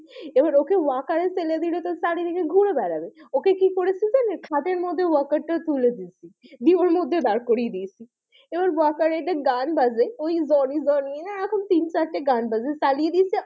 এবার ওকে walker এ ফেলেদিলে তো চারিদিকে ঘুরে বেড়াবে ওকে কি করেছি জানেন খাটের মধ্যে walker টা তুলেদিয়েছি দিয়ে ওর মধ্যে দাঁড় করিয়ে দিয়েছি এবার walker এ গান বাজে ওই জনি জনি এ রকম তিন চারটে গান বাজে চালিয়ে দিয়েছি,